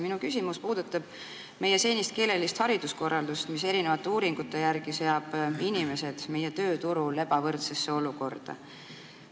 Minu küsimus puudutab meie senist keelelist hariduskorraldust, mis eri uuringute järgi seab inimesed meie tööturul ebavõrdsesse olukorda.